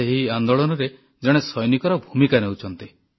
ସେ ଏହି ଆନ୍ଦୋଳନରେ ଜଣେ ସୈନିକର ଭୂମିକା ନେଉଛନ୍ତି